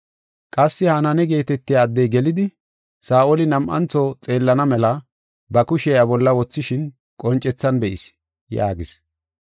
Qassi Hananiya geetetiya addey gelidi, Saa7oli nam7antho xeellana mela ba kushiya iya bolla wothishin qoncethan be7is” yaagis.